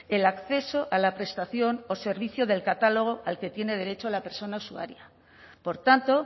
el acceso a la prestación o servicio del catálogo al que tiene derecho de la persona usuaria por tanto